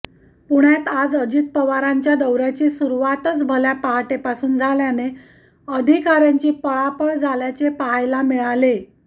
पुण्यात आज अजित पवारांच्या दौऱ्याची सुरुवातच भल्या पहाटेपासून झाल्याने अधिकाऱ्यांची पळापळ झाल्याचे पहायला मिळाले